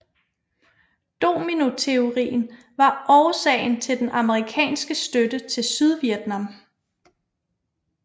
Dominoteorien var årsagen til den amerikanske støtte til Sydvietnam